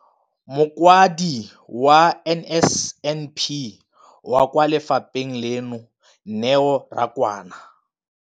Mokaedi wa NSNP kwa lefapheng leno, Neo Rakwena,